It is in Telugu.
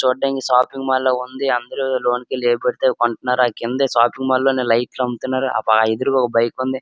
చూడ్డానికి షాపింగ్ మాల్ లా ఉంది. అందరూ లోనకెళ్లి ఏవి పడితే అవి కొంటున్నారు. ఆ కిందే షాపింగ్ మాల్ లోనే లైట్లు అమ్ముతున్నారు. ఆ ప-ఎదురుగా ఒక బైక్ ఉంది.